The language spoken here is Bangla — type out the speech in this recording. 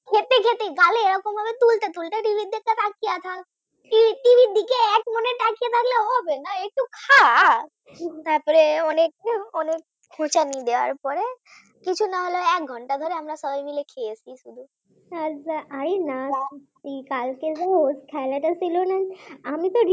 T. v র দিকে তাকিয়ে থাকলে হবে না একটু খা তারপর অনেকক্ষণ অনেক খোঁচানি দেওয়ার পরে কিছু না হলেও এক ঘন্টা ধরে আমরা সবাই মিলে খেয়েছি,